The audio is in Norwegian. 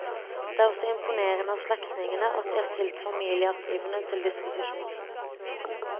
Det er også imponerende av slektningene at de har stilt familiearkivene til disposisjon.